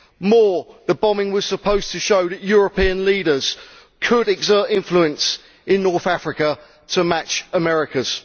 More, the bombing was supposed to show that European leaders could exert influence in North Africa to match America's.